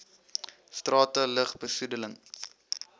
strate lug besoedeling